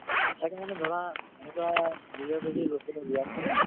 তাকে মানে ধৰা একোটা নিজৰ যদি local area ন